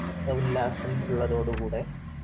ഉല്ലാസം ഉള്ളതോട് കൂടെ